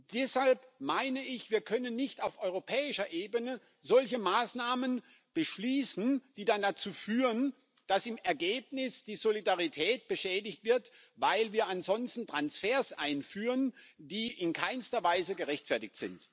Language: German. Deshalb meine ich, dass wir nicht auf europäischer Ebene solche Maßnahmen beschließen können, die dann dazu führen, dass im Ergebnis die Solidarität beschädigt wird, weil wir ansonsten Transfers einführen, die in keinster Weise gerechtfertigt sind.